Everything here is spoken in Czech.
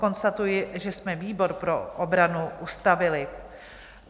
Konstatuji, že jsme výbor pro obranu ustavili.